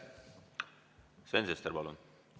Sven Sester, palun!